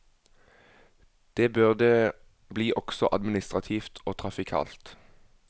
Det bør det bli også administrativt og trafikalt.